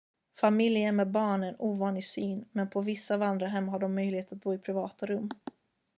familjer med barn är en ovanlig syn men på vissa vandrarhem har de möjlighet att bo i privata rum